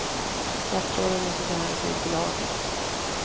Statsråden måste ta hänsyn till lagen.